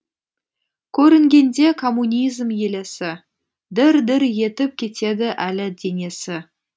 көрінгенде коммунизм елесі дір дір етіп кетеді әлі денесі